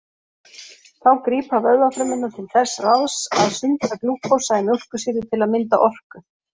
Þá grípa vöðvafrumurnar til þess ráðs að sundra glúkósa í mjólkursýru til að mynda orku.